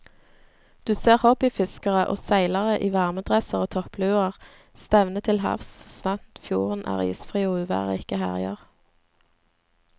Du ser hobbyfiskere og seilere i varmedresser og toppluer stevne til havs så sant fjorden er isfri og uvær ikke herjer.